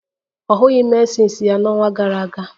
Ọ hụghị menses ya n'ọnwa gara aga